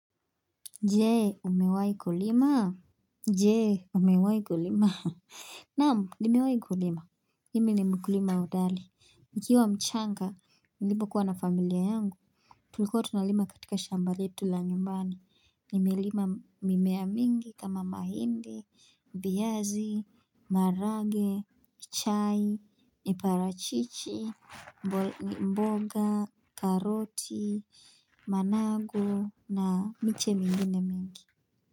Je, umewai kulima. Je, umewai kulima. Naam, nimewai kulima. Mimi ni mkulima hodali. Nikiwa mchanga, nilipokuwa na familia yangu. Tulikuwa tunalima katika shamba letu la nyumbani, nimelima mimea mingi kama mahindi, viazi, maharage, chai, miparachichi, mboga, karoti, managu na miche mingine mingi.